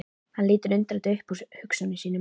Hann lítur undrandi upp úr hugsunum sínum.